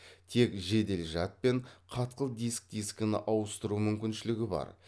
тек жедел жад пен қатқыл диск дискіні ауысыру мүмкіншілігі бар